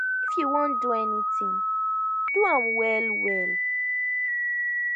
if you wan do anything do am well well